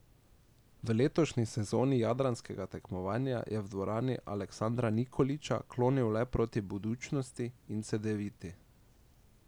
V letošnji sezoni jadranskega tekmovanja je v dvorani Aleksandra Nikolića klonil le proti Budućnosti in Cedeviti.